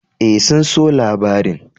E, sun so labarin.